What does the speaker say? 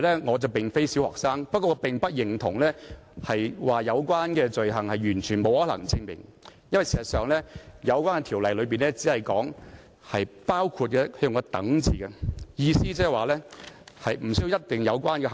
我並非小學生，但我並不認同有關罪行是完全不可能證明的，因為有關條例的寫法包括一個"等"字，所以其意思不一定指已列明的行為。